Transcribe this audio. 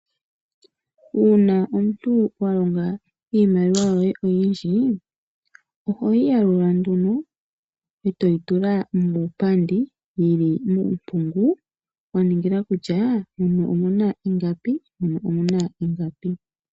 Uuna omuntu wa longa iimaliwa yoye oyinndji. Oho yi ya lula eto yi tula muupambu yili muumpungu. Waninga kutya muno omuna ingapi muno omuna ingapi.